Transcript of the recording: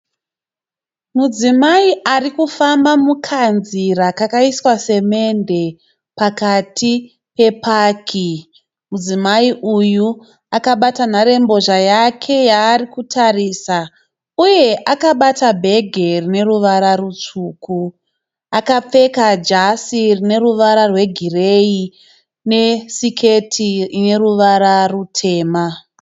Mudzimai arikufamba mukanzira kakaiswa semende pakati pepaki. Mudzimai uyu akabata nharembozha yake yaarikutarisa uye akabata bhegi rine ruvara rutsvuku. Akapfeka jasi rine ruvara rwegireyi nesiketi ine ruvara rutema.